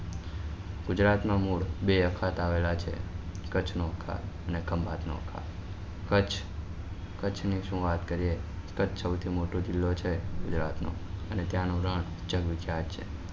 ગુજરાત નું મૂળ બે અખાત આવેલા છે કચ્છ નું અખાત અને ખંભાત નું કચ્છ કચ્છ ની શું વાત કરીએ કચ્છ સૌથી મોટો જીલ્લો છે ગુજરાત નો અને ત્યાં નું રણ ચકચકાટ છે